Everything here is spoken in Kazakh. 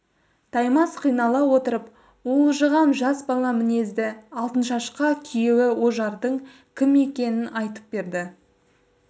таймас қинала отырып уылжыған жас бала мінезді алтыншашқа күйеуі ожардың кім екенін айтып берді